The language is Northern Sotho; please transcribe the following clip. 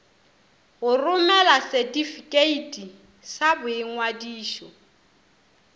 go romela setifikeiti sa boingwadišo